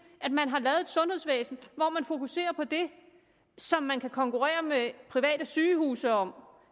at man har lavet et sundhedsvæsen hvor man fokuserer på det som man kan konkurrere med private sygehuse om